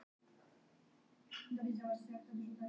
Hljómsveitin með flensu